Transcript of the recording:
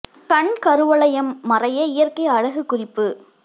கண் கருவளையம் மறைய இயற்கை அழகு குறிப்பு